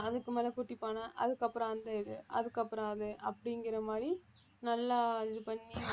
அதுக்கு மேல குட்டி பானை அதுக்கப்புறம் அந்த இது அதுக்கப்புறம் அது அப்படிங்கிற மாதிரி நல்லா இது பண்ணி